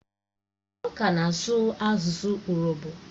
Èè, ọ ka na-asụ asụ urobo